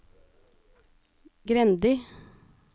Grendi